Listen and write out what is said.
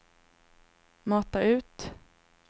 mata ut